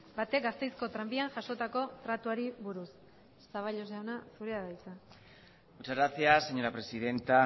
batek gasteizko tranbian jasotako tratuari buruz zaballos jauna zurea da hitza muchas gracias señora presidenta